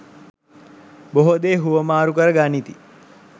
බොහෝ දේ හුවමාරු කර ගනිති.